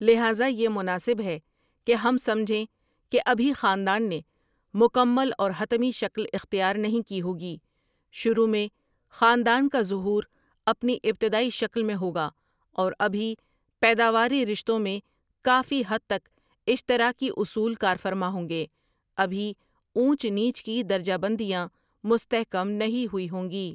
لہذا یہ مناسب ہے کہ ہم سمجھیں کہ ابھی خاندان نے مکمل اور حتمی شکل اختیار نہیں کی ہوگی شروع میں خاندان کا ظہور اپنی ابتدائی شکل میں ہوگا اور ابھی پیداواری رشتوں میں کافی حد تک اشتراکی اصول کار فرما ہوں گے ابھی اونچ نیچ کی درجہ بندیاں مستحکم نہیں ہوئی ہوں گی۔